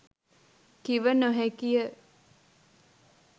කිව නොහැකිය.